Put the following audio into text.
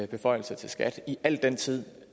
beføjelse til skat i al den tid